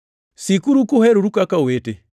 Sikuru kuheroru kaka owete.